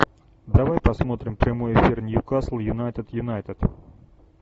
давай посмотрим прямой эфир ньюкасл юнайтед юнайтед